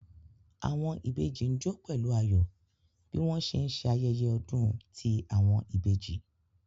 Awọn ìbejì n jó pẹlu ayọ bi wọn ṣe nṣe ayẹyẹ ọdun ti awọn ibeji